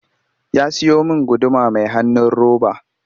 Ya siyo min guduma mai hanun roba